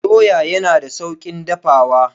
Doya yana da sauƙin dafawa.